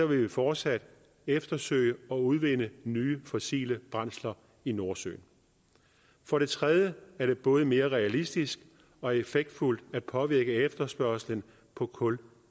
vil vi fortsat eftersøge og udvinde nye fossile brændsler i nordsøen for det tredje er det både mere realistisk og effektfuldt at påvirke efterspørgslen på kul